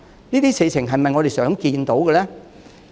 這些事情是否我們想看到的呢？